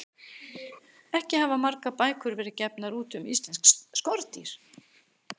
Ekki hafa margar bækur verið gefnar út um íslensk skordýr.